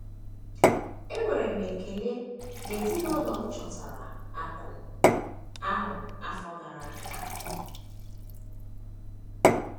Enwere m ekele na ezinụlọ m chọtara akụ̀ ahụ ọtụtụ afọ gara aga.